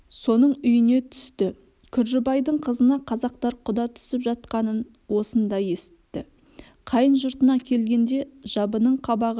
соның үйіне түсті күржібайдың қызына қазақтар құда түсіп жатқанын осында есітті қайын жұртына келгенде жабының қабағы